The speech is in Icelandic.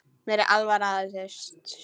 Mér er alvara með þessu.